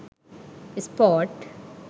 sport